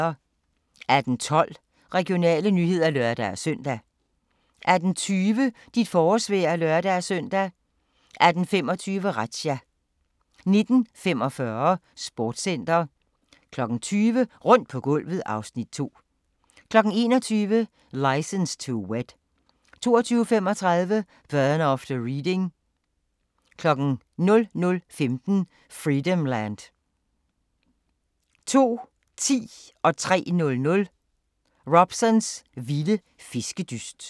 18:12: Regionale nyheder (lør-søn) 18:20: Dit forårsvejr (lør-søn) 18:25: Razzia 19:45: Sportscenter 20:00: Rundt på gulvet (Afs. 2) 21:00: License to Wed 22:35: Burn after Reading 00:15: Freedomland 02:10: Robsons vilde fiskedyst 03:00: Robsons vilde fiskedyst